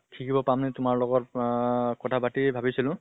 শিকিব পাম নে তোমাৰ লগত আহ কথা পাতি ভাবিছিলো